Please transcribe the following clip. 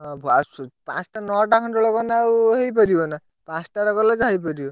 ହଁ ଆସୁ ପାଞ୍ଚଟା ନଅଟା ଖଣ୍ଡ ବେଳକୁ ଗଲେ ଆଉ ହେଇପାରିବନା? ପାଞ୍ଚଟାରେ ଗଲେ ଯାହା ହେଇପାରିବ?